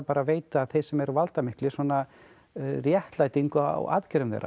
að veita þeim sem eru valdamiklir svona réttlætingu á aðgerðum þeirra